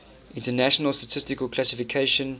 international statistical classification